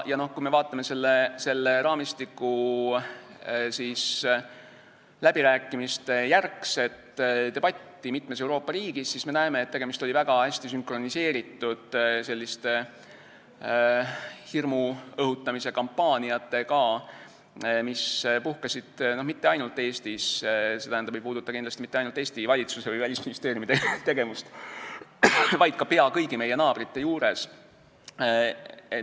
Kui me vaatame raamistiku läbirääkimiste järgset debatti mitmes Euroopa riigis, siis me näeme, et tegemist oli väga hästi sünkroniseeritud hirmu õhutamise kampaaniatega, mis puhkesid mitte ainult Eestis ega puudutanud kindlasti mitte ainult Eesti valitsuse või Välisministeeriumi tegevust, vaid neid oli peaaegu kõigi meie naabrite juures.